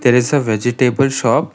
there is a vegetable shop.